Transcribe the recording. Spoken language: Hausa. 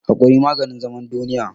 Hakuri maganin zaman duniya.